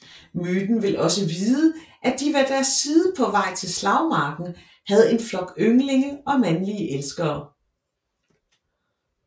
Myten vil også vide at de ved deres side på vej til slagmarken havde en flok ynglinge og mandlige elskere